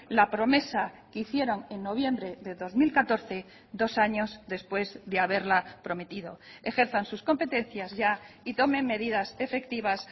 la promesa que hicieron en noviembre de dos mil catorce dos años después de haberla prometido ejerzan sus competencias ya y tomen medidas efectivas